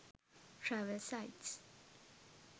travel sites